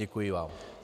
Děkuji vám.